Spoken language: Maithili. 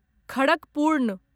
खड़कपूर्ण